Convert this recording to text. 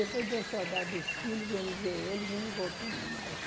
Depois deu saudade dos filhos, viemos ver eles e não voltamos mais.